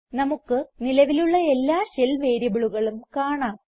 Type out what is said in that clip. നമുക്ക് നിലവിലുള്ള എല്ലാ ഷെൽ വേരിയബിളുകളും കാണാം